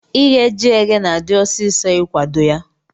Ighe ji eghe na adi ọsisọ ikwado ya.